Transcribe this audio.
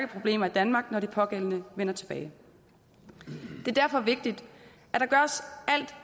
problemer i danmark når de pågældende vender tilbage det er derfor vigtigt